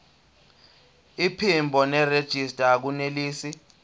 iphimbo nerejista akunelisi